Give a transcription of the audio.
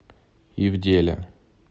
ивделя